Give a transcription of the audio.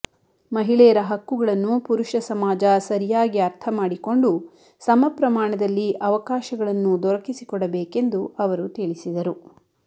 ಮಹಿಳೆಯರ ಹಕ್ಕುಗಳನ್ನು ಪುರುಷ ಸಮಾಜ ಸರಿಯಾಗಿ ಅರ್ಥ ಮಾಡಿಕೊಂಡು ಸಮಪ್ರಮಾಣದಲ್ಲಿ ಅವಕಾಶಗಳನ್ನು ದೊರಕಿಸಿಕೊಡಬೇಕೆಂದು ಅವರು ತಿಳಿಸಿದರು